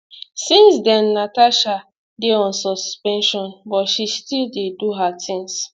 since den natasha dey on suspension but she still dey do her tins